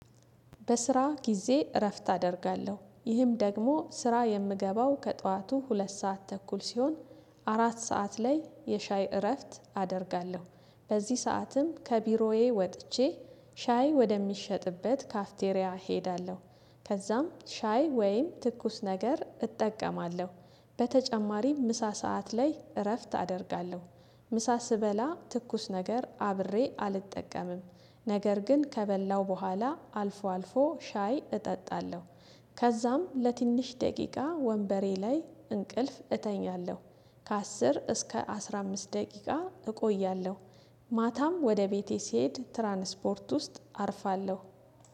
በስራ ጊዜ እረፍት አደርጋለሁ ይህም ደግሞ ስራ የምገባው ከጠዋቱ ሁለት ሰዓት ተኩል ሲሆን አራት ሰዓት ላይ የሻይ እረፍት አደርጋለሁ። በዚህ ሰዓትም ከቢሮዬ ወጥቼ ሻይ ወደሚሸጥበት ካፍቴሪያ እሄዳለሁ። ከዛም ሻይ ወይም ትኩስ ነገር እጠቀማለሁ። በተጨማሪም ምሳ ሰዓት ላይ እረፍት አደርጋለሁ። ምሳ ስበላ ትኩስ ነገር አብሬ አልጠቀምም። ነገር ግን ከበላው በኋላ አልፎ አልፎ ሻይ እጠጣለሁ። ከዛም ለትንሽ ደቂቃ ወንበሬ ላይ እንቅልፍ እተኛለሁ። ከአስር እስከ አስራ አምስት ደቂቃ እቆያለሁ። ማታም ወደ ቤቴ ስሄድ ትራንስፖርት ውስጥ አርፋለሁ